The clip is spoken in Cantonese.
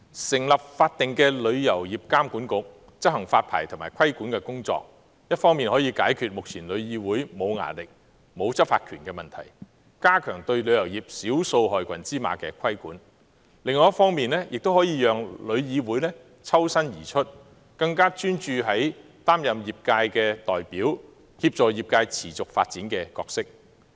成立法定的旅監局執行發牌及規管的工作，一方面可以解決目前旅議會沒有"牙力"、沒有執法權的問題，加強對旅遊業少數害群之馬的規管；另一方面，可以讓旅議會抽身而出，更專注於擔任業界代表及協助業界持續發展的角色。